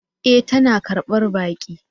E! tana karbar baki.